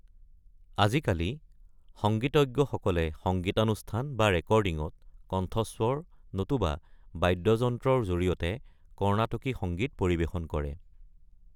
আজিকালি, সংগীতজ্ঞসকলে সংগীতানুষ্ঠান বা ৰেকৰ্ডিঙত, কণ্ঠস্বৰ নতুবা বাদ্যযন্ত্ৰৰ জৰিয়তে কৰ্ণাটকী সংগীত পৰিৱেশন কৰে।